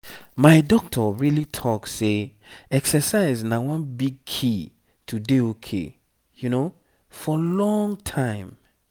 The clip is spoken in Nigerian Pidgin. my doctor really talk say exercise na one big key to dey ok for long time.